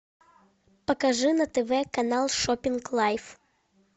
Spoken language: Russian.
покажи на тв канал шоппинг лайф